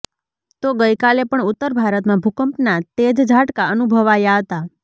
તો ગઈકાલે પણ ઉત્તર ભારતમાં ભૂકંપના તેજ ઝાટકા અનુભવાયા હતા